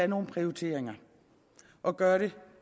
nogle prioriteringer og gøre det